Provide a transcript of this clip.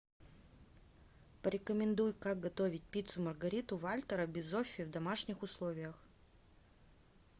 порекомендуй как готовить пиццу маргариту вальтера бизоффи в домашних условиях